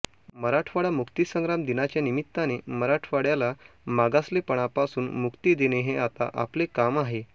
मराठवाडा मुक्तीसंग्राम दिनाच्या निमित्ताने मराठवाड्याला मागासलेपणापासून मुक्ती देणे हे आता आपले काम आहे